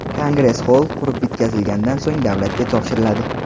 Kongress xoll qurib bitkazilganidan so‘ng davlatga topshiriladi.